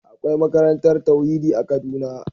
Akwai makarantar tauhidi a kaduna.